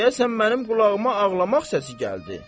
Deyəsən mənim qulağıma ağlamaq səsi gəldi.